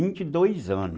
Até os vinte e dois anos.